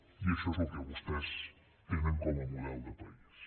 i això és el que vostès tenen com a model de país